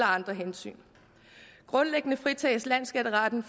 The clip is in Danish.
andre hensyn grundlæggende fritages landsskatteretten